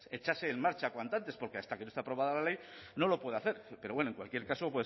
echase en marcha cuanto antes porque hasta que no esté aprobada la ley no lo puede hacer pero bueno en cualquier caso